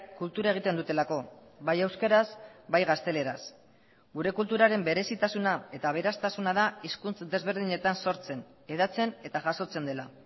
kultura egiten dutelako bai euskaraz bai gazteleraz gure kulturaren berezitasuna eta aberastasuna da hizkuntz desberdinetan sortzen hedatzen eta jasotzen dela